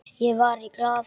Ég var í Glað.